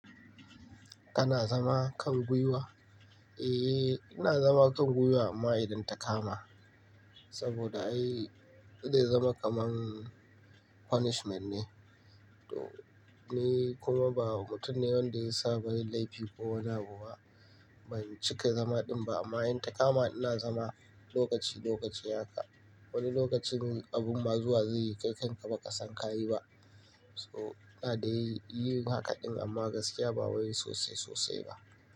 Kana zama kan gwiwa? Eh, ina zama kan gwiwa amma idan ta kama. Saboda ai ita zama kaman punishment ne. To, ni kuma ba mutum ne wanda ya saba da laifi ko wane abu ba. Ban cika zama din ba amma in ta kama ina zama lokaci lokaci haka. Wani lokacin abun mazuwa zai yi kai kanka ba ka san ka yi ba. So, ina dai yin haka din amma gaskiya ba wai sosai sosai ba.